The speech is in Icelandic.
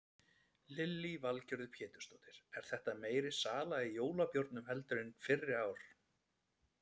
Lillý Valgerður Pétursdóttir: Er þetta meiri sala í jólabjórnum heldur en fyrri ár?